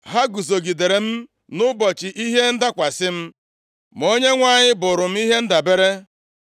Ha guzogidere m nʼụbọchị ihe ndakwasị m. Ma Onyenwe anyị bụrụ m ihe ndabere.